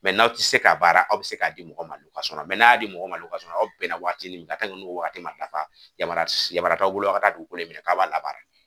n' aw te se ka baara ,aw be se ka di mɔgɔ ma . n'a ya di mɔgɔ ma sɔrɔ aw bɛn na waati min kan n'o waati ma dafa yamariya t'a bolo a ka dugukolo minɛ k'a b'a labaara.